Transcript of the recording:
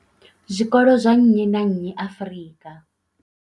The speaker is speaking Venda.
zwikolo zwa nnyi na nnyi Afrika.